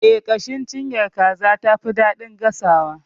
Eh, ƙashin cinyar kaza tafi daɗin gasawa.